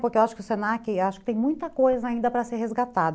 Porque eu acho que o se na que tem muita coisa ainda para ser resgatado.